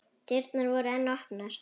Dyrnar voru enn opnar.